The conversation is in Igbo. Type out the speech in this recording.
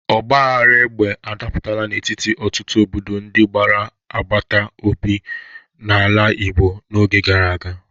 Ọgbaghara egbe adapụtaala n'etiti ọtụtụ obodo ndị gbara agbata obi n'ala Igbo n'oge gara aga.